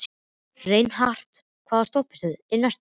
Reinhart, hvaða stoppistöð er næst mér?